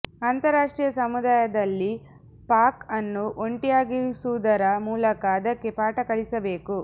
ಅಂತಾರಾಷ್ಟ್ರೀಯ ಸಮುದಾಯದಲ್ಲಿ ಪಾಕ್ ಅನ್ನು ಒಂಟಿಯಾಗಿಸುವುದರ ಮೂಲಕ ಅದಕ್ಕೆ ಪಾಠ ಕಲಿಸಬೇಕು